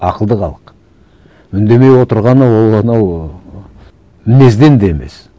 ақылды халық үндемей отырғаны ол анау мінезден де емес